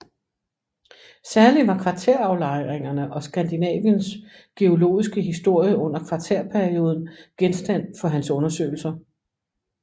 Særlig var kvartæraflejringerne og Skandinaviens geologiske historie under kvartærperioden genstand for hans undersøgelser